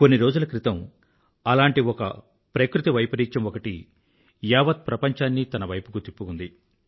కొన్ని రోజుల క్రితం అలాంటి ఒక ప్రకృతి వైపరీత్యం ఒకటి యావత్ ప్రపంచాన్నీ తన వైపుకు తిప్పుకుంది